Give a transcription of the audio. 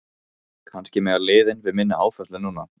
Kannski mega liðin við minni áföllum núna?